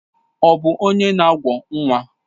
Ọ bụ onye na awọ nwa?